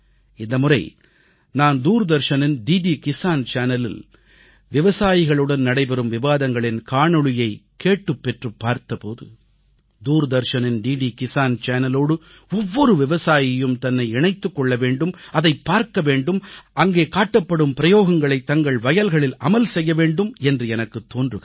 இந்தமுறை நான் தூர்தர்ஷனின் விவசாயிகளுக்கான கிசான் அலைவரிசையில் விவசாயிகளுடன் நடைபெறும் விவாதங்களின் காணொளியை பார்த்த போது தூர்தர்ஷனின் டிடி கிசான் அலைவரிசையோடு ஒவ்வொரு விவசாயியும் தன்னை இணைத்துக் கொள்ள வேண்டும் அதைப் பார்க்க வேண்டும் அங்கே காட்டப்படும் பிரயோகங்களைத் தங்கள் வயல்களில் அமல் படுத்த வேண்டும் என்று எனக்குத் தோன்றுகிறது